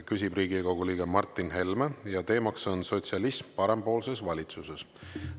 Küsib Riigikogu liige Martin Helme ja teemaks on sotsialism parempoolses valitsuses.